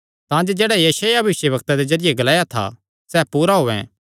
तांजे जेह्ड़ा यशायाह भविष्यवक्ता दे जरिये ग्लाया था सैह़ पूरा होयैं